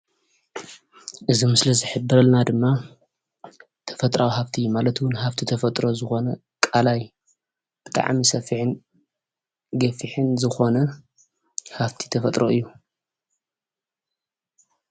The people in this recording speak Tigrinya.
እዚ ምስሊ ዝሕብረልና ድማ ተፈጥራዊ ሃፍቲ ማለት እውን ሃፍቲ ተፈጥሮ ዝኾነ ቃላይ ብጣዕሚ ሰፊሕን ገፊሕን ዝኮነ ሃፍቲ ተፈጥሮ እዩ